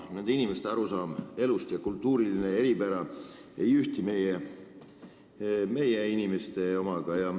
Nende inimeste arusaam elust ei ühti meie inimeste omaga, nende kultuur on teine.